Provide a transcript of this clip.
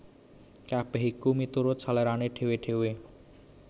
Kabèh iku miturut selérané dhéwé dhéwé